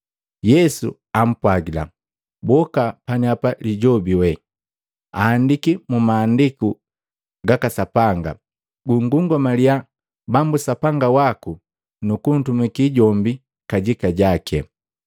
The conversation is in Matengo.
Yesu ampwagila, “Boka neapa Lijobi wee! Aandiki mu Maandiku gaka Sapanga, ‘Gungungamaliya Bambu Sapanga waku, nukuntumakii jombi kajika jaki.’ ”